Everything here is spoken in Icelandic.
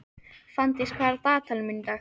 Fanndís, hvað er á dagatalinu mínu í dag?